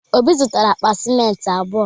Obi zụtara akpa simenti abụọ.